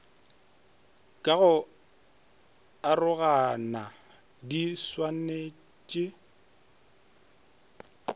ka go arogana di swanetpe